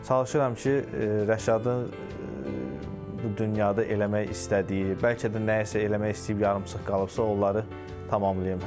Çalışıram ki, Rəşadın bu dünyada eləmək istədiyi, bəlkə də nəyisə eləmək istəyib yarımçıq qalıbsa, onları tamamlayım.